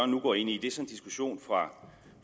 nu går ind i er så en diskussion fra